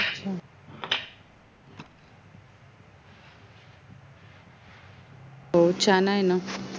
हो छान आहे ना